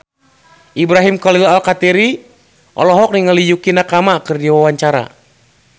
Ibrahim Khalil Alkatiri olohok ningali Yukie Nakama keur diwawancara